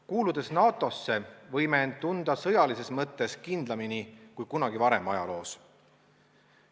Kuuludes NATO-sse, võime end tunda sõjalises mõttes kindlamini kui kunagi varem ajaloos.